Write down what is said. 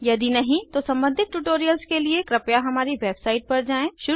यदि नहीं तो सम्बंधित ट्यूटोरियल्स के लिए कृपया हमारी वेबसाइट पर जाएँ